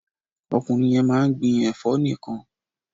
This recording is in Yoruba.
Ọkùnrin yẹn máa ń gbin ẹ̀fọ́ nìkan.